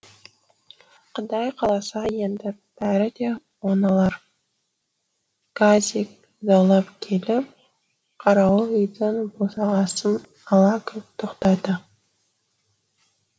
құдай қаласа енді бәрі де оңалар газик заулап келіп қарауыл үйдің босағасын ала кілт тоқтады